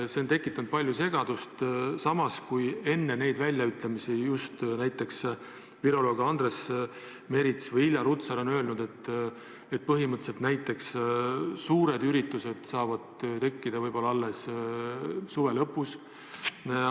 See on tekitanud palju segadust, samas, kui enne neid väljaütlemisi just näiteks viroloog Andres Merits või Irja Lutsar on öelnud, et põhimõtteliselt saavad suured üritused toimuda võib-olla alles suve lõpus.